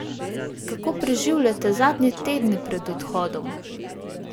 Kako preživljata zadnje tedne pred odhodom?